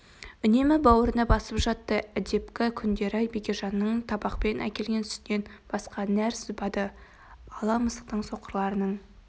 үнемі бауырына басып жатты әдепкі күңдері бекежанның табақпен әкелген сүтінен басқа нәр сызбады ала мысықтың соқырларының